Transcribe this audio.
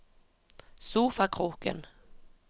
sofakroken